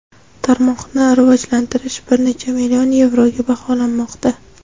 Tarmoqni rivojalantirish bir necha million yevroga baholanmoqda.